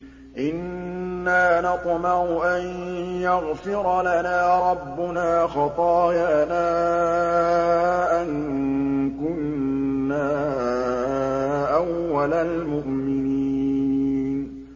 إِنَّا نَطْمَعُ أَن يَغْفِرَ لَنَا رَبُّنَا خَطَايَانَا أَن كُنَّا أَوَّلَ الْمُؤْمِنِينَ